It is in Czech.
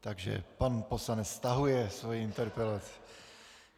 Takže pan poslanec stahuje svoji interpelaci.